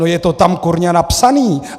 No je to tam kurňa napsané!